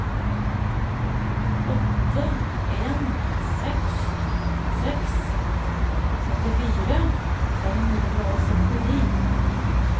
åtte en seks seks syttifire fem hundre og syttini